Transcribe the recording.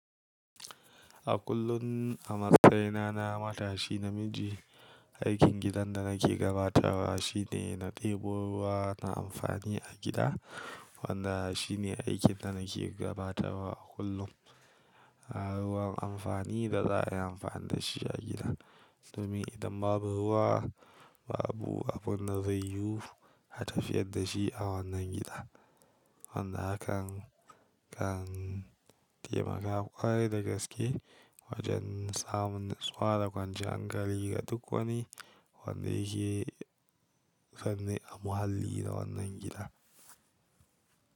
A kullum a matsayina na matashi namiji, aikin gidan da nake gabatarwa shine na ɗebo ruwa na amfani a gida. Wanda shine aikin da nake gabatarwa a kullum. Ruwan amfani da za a yi amfani da shi a gida. Domin idan babu ruwa, babu abun da zai yiwu a tafiyar da shi a wannan gida. Wanda hakan kan taimaka ƙwarai da gaske wajen samun natsuwa da kwanciya hankali ga duk wani wanda yake fanne a muhallin da wannan gida.